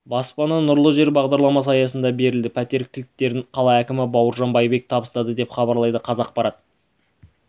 баспана нұрлы жер бағдарламасы аясында берілді пәтер кілттерін қала әкімі бауыржан байбек табыстады деп хабарлайды қазақпарат